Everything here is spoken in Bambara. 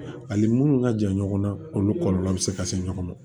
Ani munnu ka jan ɲɔgɔnna olu kɔlɔlɔ bɛ se ka se ɲɔgɔn ma